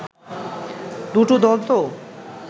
দুটো দল তো